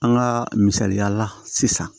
An ka misaliyala sisan